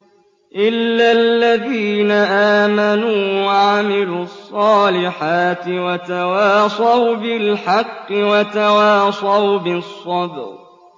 إِلَّا الَّذِينَ آمَنُوا وَعَمِلُوا الصَّالِحَاتِ وَتَوَاصَوْا بِالْحَقِّ وَتَوَاصَوْا بِالصَّبْرِ